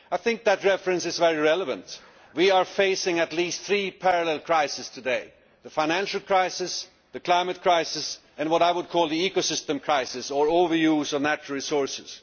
I think that reference is very relevant. We are facing at least three parallel crises today the financial crisis, the climate crisis and what I would call the ecosystem crisis, or overuse of natural resources.